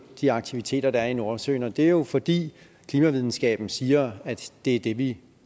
de aktiviteter der er i nordsøen og det er jo fordi klimavidenskaben siger at det er det vi